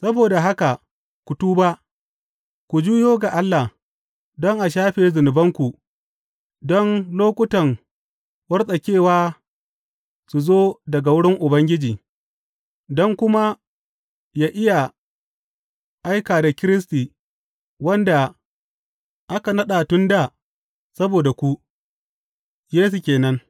Saboda haka ku tuba, ku juyo ga Allah, don a shafe zunubanku, don lokutan wartsakewa su zo daga wurin Ubangiji, don kuma ya iya aika da Kiristi, wanda aka naɗa tun dā saboda ku, Yesu ke nan.